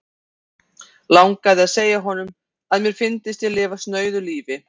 Langaði að segja honum, að mér fyndist ég lifa snauðu lífi.